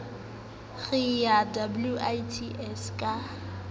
re re ye wits ka